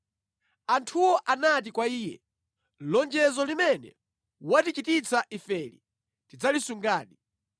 Anthuwo anati kwa iye, “Lonjezo limene watichititsa ifeli tidzalisungadi